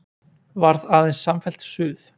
Varð aðeins samfellt suð.